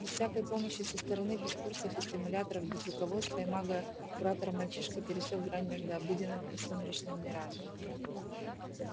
без всякой помощи со стороны без курсов и стимуляторов без руководства мага-куратора мальчишка пересёк грань между обыденным и сумеречным мирами